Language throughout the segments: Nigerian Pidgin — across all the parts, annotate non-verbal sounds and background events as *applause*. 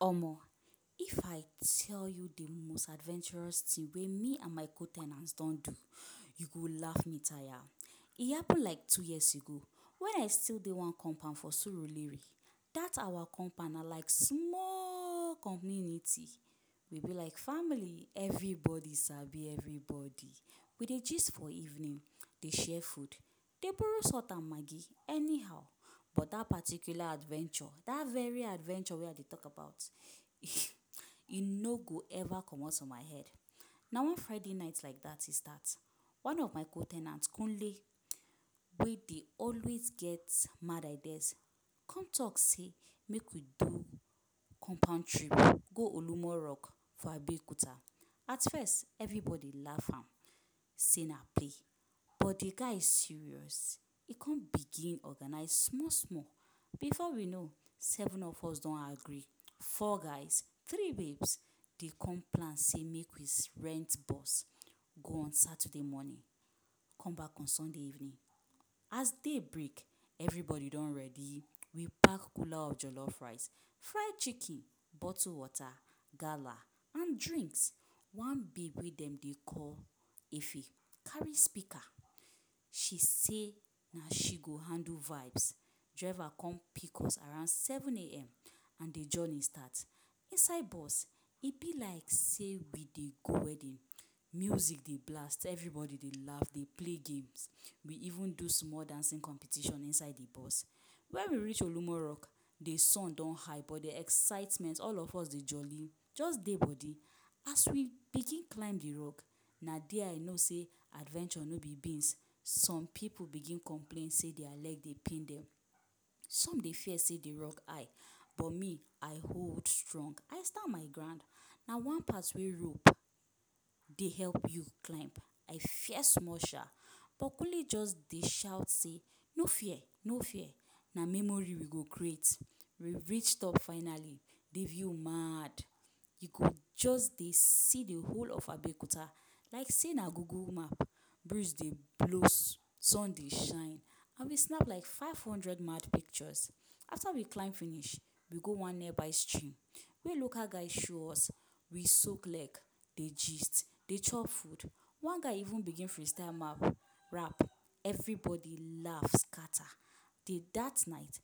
Omoh! If I tell you the most adventurous thing wey me and my co- ten ants don do, you go laff me tire. E happen like two years ago when I still dey one compound for Surulere. Dat awa compound na like smaaaaall community. We be like family - everybody sabi everybody. We dey gist for evening, dey share food, dey borrow salt and maggi anyhow. But that particular adventure, dat very adventure wey I dey talk about *laughs* e no go ever comot for my head. Na one Friday night like that e start. One of my co- ten ant, Kunle, wey dey always get mad ideas come talk sey make we do compound trip go Olumo Rock for Abeokuta. At first, everybody laff am sey na play, but de guy serious. E come begin organize small-small. Before we know, seven of us don agree - four guys, three babes. De come plan sey make we rent bus go on Saturday morning, come back on Sunday evening. As day break, everybody don ready. We pack cooler of jollof rice, fry chicken, bottle water, gala and drinks. One babe wey dem dey call Efe carry speaker. She say na she go handle vibes. Driver come pick us around seven am and de journey start. Inside bus, e be like sey we dey go wedding. Music dey blast, everybody dey laff dey play games. We even do small dancing competition inside de bus. When we reach Olumo Rock, the sun don high, but de excitement all of us dey jolly, just dey body. As we begin climb the rock, na there I know sey adventure no be beans. Some pipu begin complain sey dia leg dey pain dem. Some dey fear sey the rock high, but me I hold strong – I stand my ground. Na one part wey rope dey help you climb I fear small sha. But Kunle just dey shout say ‘No fear! No fear!! Na memory we go create’. We reach top finally, the view maaaad! You go just dey see the whole of Abeokuta like sey na google map. Breeze dey blow, sun dey shine and we snap like five hundred mad pictures. After we climb finish, we go one nearby stream wey local guy show us. We soak leg, dey gist, dey chop food. One guy even begin freestyle rap, everybody laff scatter. Dat night,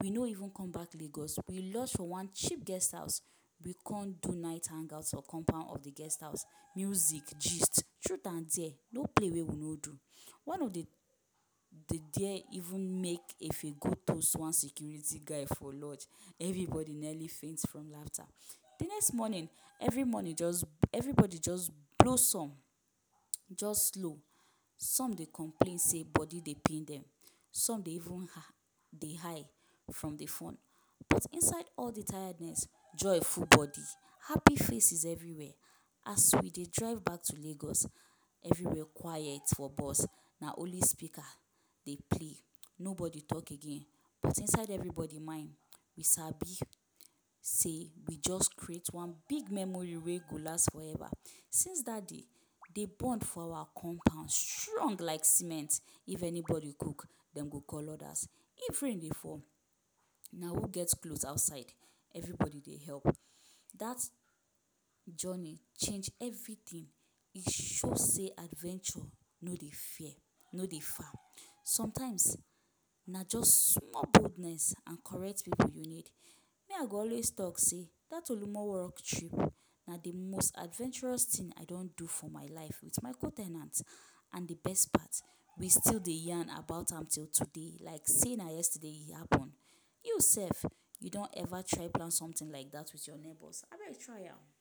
we no even come back Lagos, we lodge for one cheap guest house. We come do night hangout for compound of de guest house. Music, gist, truth and dare; no play wey we no do. One of de de dare even make Efe go toast one security guy for lodge. Everybody nearly faint from laughter. De next morning, every morning just everybody just blossom, just slow. Some dey complain sey body dey pain dem, some dey even dey high from the fun. But inside all de tiredness, joy full body, happy faces everywhere. As we dey drive back to Lagos, everywhere quiet for bus. Na only speaker dey play; nobody talk again. But inside everybody mind, we sabi sey we just create one big memory wey go last forever. Since dat day, de bond for awa compound strong like cement. If anybody cook, dem go call others. If rain dey fall, na who get clothes outside, everybody dey help. Dat journey change everything. E show sey adventure no dey fear no dey far. Sometimes, na just small boldness and correct pipu you need. Me I go always talk say dat Olumo Rock trip, na de most adventurous thing I don do for my life with my co- ten ants. And de best part, we still dey yarn about am till today like sey na yesterday e happen. You sef, you don ever try plan something like dat with your neighbours? Abeg try am!